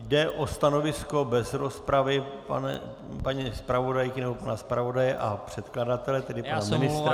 Jde o stanovisko bez rozpravy paní zpravodajky nebo pana zpravodaje a předkladatele tedy pana ministra.